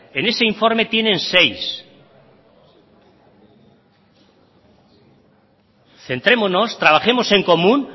en ese informe tienen seis centrémonos trabajemos en común